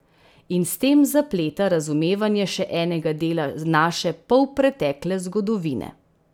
In s tem zapleta razumevanje še enega dela naše polpretekle zgodovine.